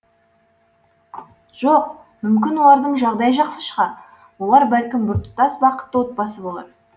жоқ мүмкін олардың жағдайы жақсы шығар олар бәлкім біртұтас бақытты отбасы болар